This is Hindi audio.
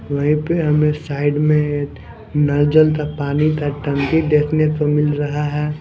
वहीं पे हमें साइड में नलजल का पानी था टंकी देखने को मिल रहा है।